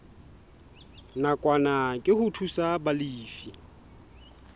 nakwana ke ho thusa balefi